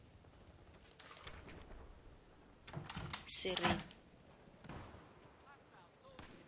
sereni